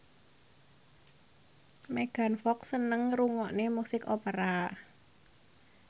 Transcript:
Megan Fox seneng ngrungokne musik opera